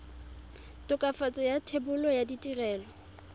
tokafatso ya thebolo ya ditirelo